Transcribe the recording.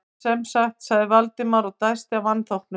En sem sagt- sagði Valdimar og dæsti af vanþóknun.